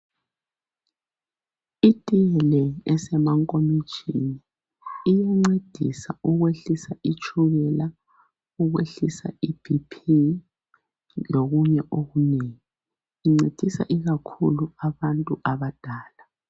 Itiye le esemankomitshini iyancedisa ukwehlisa itshukela, ukwehlisa i BP lokunye okunengi. Incedisa ikakhulu abantu abadala.